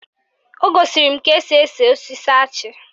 O gosiri m ka esi ese osisi achị